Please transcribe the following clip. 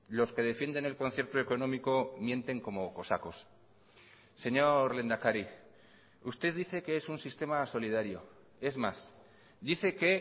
los que defienden el concierto económico mienten como cosacos señor lehendakari usted dice que es un sistema solidario es más dice que